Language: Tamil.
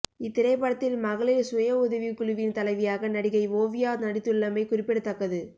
இத்திரைப்படத்தில் மகளிர் சுய உதவிக் குழுவின் தலைவியாக நடிகை ஓவியா நடித்துள்ளமை குறிப்பிடத்தக்கது